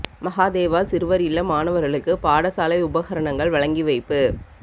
மகாதேவா சிறுவர் இல்ல மாணவர்களுக்கு பாடசாலை உபகரணங்கள் வழங்கி வைப்பு